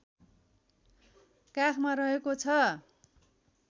काखमा रहेको छ